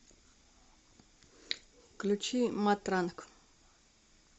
включи матранг